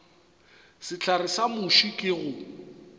sehlare sa muši ke go